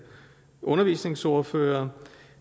undervisningsordførere